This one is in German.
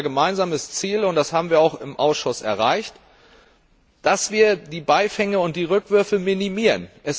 Das ist unser gemeinsames Ziel, und das haben wir auch im Ausschuss erreicht, dass wir die Beifänge und die Rückwürfe minimieren.